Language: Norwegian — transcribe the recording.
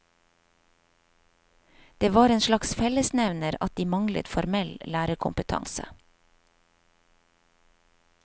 Det var en slags fellesnevner at de manglet formell lærerkompetanse.